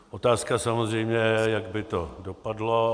Otázka samozřejmě je, jak by to dopadlo.